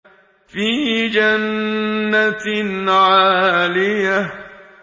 فِي جَنَّةٍ عَالِيَةٍ